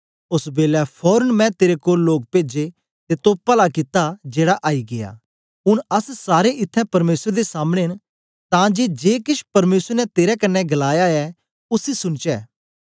ओस बेलै फोरन मैं तेरे कोल लोग पेजे ते तो पला कित्ता जेड़ा आई गीया ऊन अस सारे इत्थैं परमेसर दे सामने न तां जे जे केछ परमेसर ने तेरे कन्ने गलाया ऐ उसी सुनचै